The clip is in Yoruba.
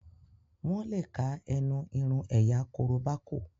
wón le ká ẹnu irun ẹ̀yà koroba kò.